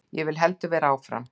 Ég vil heldur vera áfram.